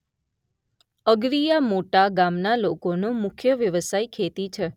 અગરીયા મોટા ગામના લોકોનો મુખ્ય વ્યવસાય ખેતી છે.